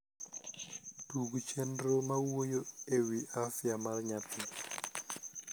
tug chernro mawuoyo ewi afya mar nyathi